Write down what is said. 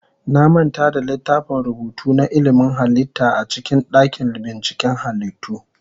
Na manta da littafin rubutu na ilimin halitta a cikin dakin binciken halittu.